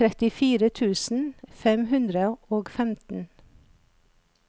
trettifire tusen fem hundre og femten